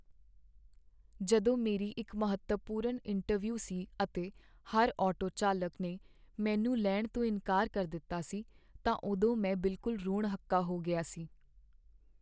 ਜਦੋਂ ਮੇਰੀ ਇੱਕ ਮਹੱਤਵਪੂਰਨ ਇੰਟਰਵਿਊ ਸੀ ਅਤੇ ਹਰ ਆਟੋ ਚਾਲਕ ਨੇ ਮੈਨੂੰ ਲੈਣ ਤੋਂ ਇਨਕਾਰ ਕਰ ਦਿੱਤਾ ਸੀ ਤਾਂ ਉਦੋਂ ਮੈਂ ਬਿਲਕੁਲ ਰੋਣ ਹੱਕਾ ਹੋ ਗਿਆ ਸੀ।